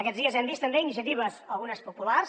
aquests dies hem vist també iniciatives algunes populars